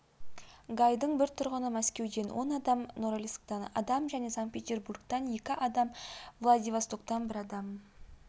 гайдың бір тұрғыны мәскеуден он адам норильсктен адам және санкт-петербургтан екі адам владивостоктан бір адам